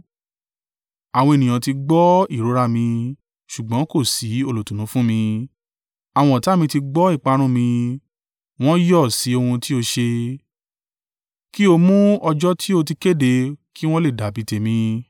“Àwọn ènìyàn ti gbọ́ ìrora mi, ṣùgbọ́n kò sí olùtùnú fún mi. Àwọn ọ̀tá mi ti gbọ́ ìparun mi; wọ́n yọ̀ sí ohun tí o ṣe. Kí o mú ọjọ́ tí o ti kéde, kí wọ́n le dàbí tèmi.